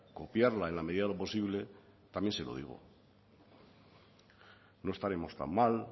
copiarla en la medida de lo posible también se lo digo